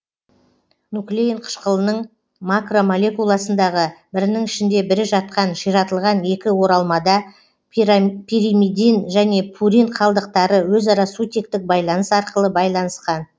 нуклеин қышқылының макромолекуласындағы бірінің ішінде бірі жатқан ширатылған екі оралмада пиримидин және пурин қалдықтары өзара сутектік байланыс арқылы байланыскан